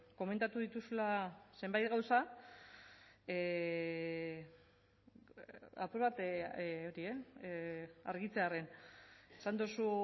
komentatu ditudala zenbait gauza apur bat argitzearren esan duzu